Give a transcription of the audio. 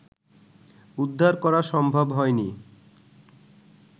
উদ্ধার করা সম্ভব হয়নি